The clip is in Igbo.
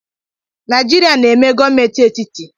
Naijiria na-eme gọọmenti etiti.